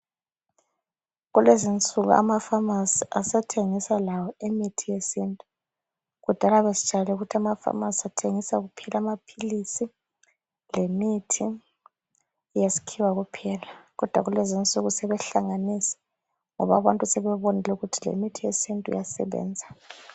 Kulezinsuku amafamasi asethengisa lawo imithi yesintu. Kudala besijayele ukuthi amafamasi athengisa kuphela amaphilisi lemithi yesikhiwa kuphela. Kodwa kathesi sebehlanganisa ngoba abantu sebebonile ukuthi lemithi yesintu iyasebenza.